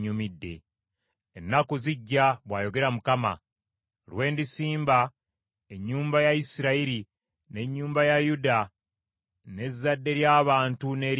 “Ennaku zijja,” bwayogera Mukama , “lwe ndisimba ennyumba ya Isirayiri ne nnyumba ya Yuda n’ezzadde ly’abantu n’ery’ensolo.